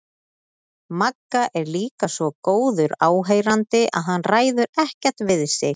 Magga er líka svo góður áheyrandi að hann ræður ekkert við sig.